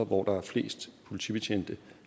hvor der er flest politibetjente